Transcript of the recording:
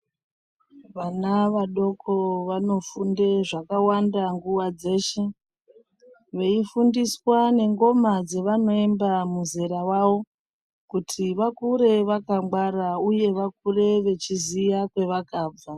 Vana vadoko vanofunde zvakawanda nguwa dzeshe veifundiswa nengoma dzevanoemba muzera wavo kuti vakure vakangwara uye vakure vechiziya kwavakabva.